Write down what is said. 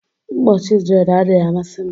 Mkpọchi dread adịghị amasị m